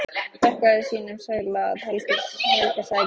Þakkaði sínum sæla að Helga sagði ekki neitt.